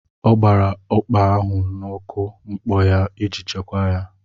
Ọ gbara ụkpà ahụ na mkpọ iji chekwaa ya.